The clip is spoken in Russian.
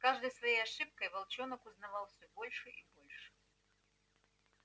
с каждой своей ошибкой волчонок узнавал всё больше и больше